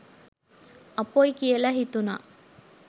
අපොයි කියලා හිතුනා.